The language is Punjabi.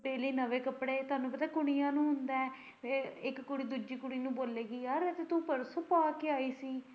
ਤੇਰੇ ਲਈ ਨਵੇਂ ਕੱਪੜੇ ਤੁਹਾਨੂੰ ਪਤਾ ਕੁੜੀਆਂ ਨੂੰ ਹੁੰਦਾ ਐ ਇੱਕ ਕੁੜੀ ਦੂਜੀ ਕੁੜੀ ਨੂੰ ਬੋਲੇਗੀ ਯਾਰ ਐ ਤੇ ਤੂੰ ਪਰਸੋੋਂ ਪਾ ਕੇ ਆਈ ਸੀ।